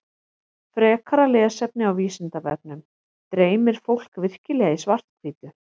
Frekara lesefni á Vísindavefnum Dreymir fólk virkilega í svart-hvítu?